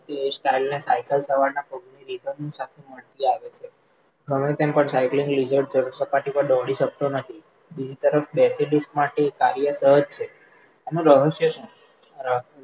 style ને cycle સવારના પગ આવે છે, ઘણો time પણ સાઈકલિંગ લિઝર્ડ જળસપાટી પર દોડી શકતો નથી, બીજી તરફ માટે એ કાર્ય સહજ છે, એનું રહસ્ય શું? રહસ્ય